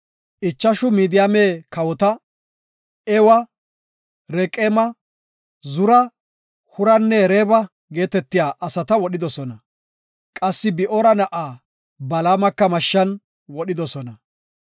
Ichashu Midiyaame kawota, Ewa, Reqeema, Zura, Huranne Reeba geetetiya asata wodhidosona; qassi Bi7oora na7aa Balaamaka mashshan wodhidosona.